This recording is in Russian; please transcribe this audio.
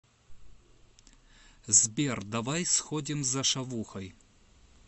сбер давай сходим за шавухой